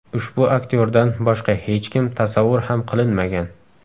Ushbu aktyordan boshqa hech kim tasavvur ham qilinmagan.